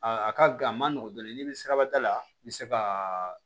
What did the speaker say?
Aa a ka a ma nɔgɔ dɔɔnin n'i bɛ sirabada la i bɛ se ka